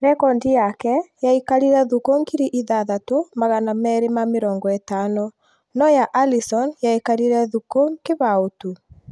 Rekondi yake yaikarire thukũ ngiri ithathatũ magana meri ma mĩrongo ĩtano ,no ya Alisson yaikarire thuku kĩbao tu